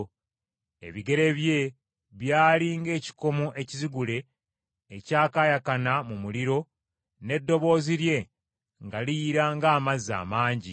Ebigere bye byali ng’ekikomo ekizigule ekyakaayakana mu muliro n’eddoboozi lye nga liyira ng’amazzi amangi.